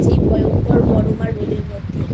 এই ভয়ঙ্কর গরম আর রোদের মধ্যে